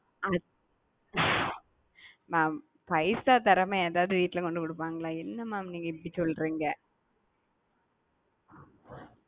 mam பைசா தரமா யாராது வீட்டுல கொண்டு கொடுப்பாங்களா என்ன mam நீங்க இபாடி சொல்றீங்க.